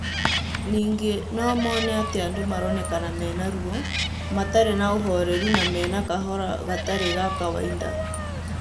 Ningĩ no mone atĩ andũ maroneka mena ruo, matarĩ na ũhoreru na mena kahora gatarĩ ga kawaida